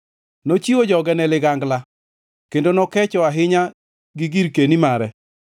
Nochiwo joge ne ligangla, kendo nokecho ahinya gi girkeni mare.